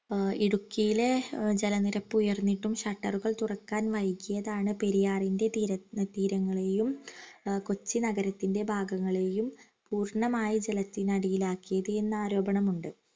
ആഹ് ഇടുക്കിയിലെ ജലനിരപ്പ് ഉയർന്നിട്ടും shutter ഉകൾ തുറക്കാൻ വൈകിയതാണ് പെരിയാറിൻറെ തീരങ്ങളെയും കൊച്ചി നഗരത്തിൻറെ ഭാഗങ്ങളെയും പൂർണമായി ജലത്തിനടിയിലാക്കിയതെന്നു ആരോപണമുണ്ട്